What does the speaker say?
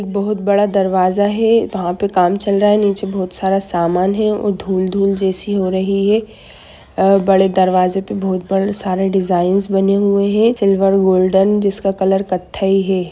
एक बहोत बड़ा दरवाजा है वहा पे काम चल रहा है निचे बहुत सारा सामान है धूल-धूल जैसी हो रही है और बड़े दरवाज़े पे बहोत सारे डिज़ाइन बने हुए है सिल्वर गोल्डन जिसका कलर क़त्थई है।